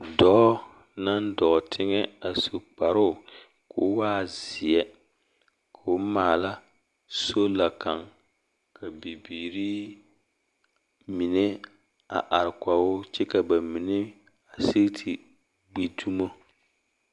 Dɔɔ naŋ dɔɔ teŋɛ a su kparoo koo waa zeɛ, koo maala sola kaŋ ka bibiiri mine a are kɔgoo kyɛ ka ba mine see te gbi dumo.